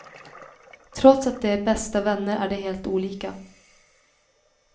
Trots att de är bästa vänner är de helt olika.